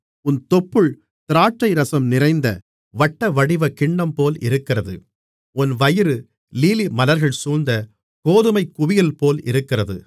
உன் தொப்புள் திராட்சைரசம் நிறைந்த வட்டவடிவக் கிண்ணம்போல் இருக்கிறது உன் வயிறு லீலிமலர்கள் சூழ்ந்த கோதுமைக் குவியல்போல் இருக்கிறது